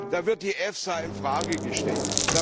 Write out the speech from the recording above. Da wird die EFSA in Frage gestellt.